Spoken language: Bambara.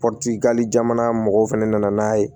jamana mɔgɔw fɛnɛ nana n'a ye